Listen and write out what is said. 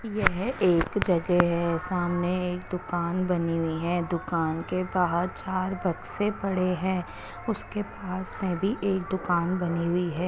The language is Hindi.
येह एक जगे है सामने एक दूकान बनी हुई है दूकान के बाहर चार बक्से पड़े है उसके पास में भी एक दूकान बनी हुई है।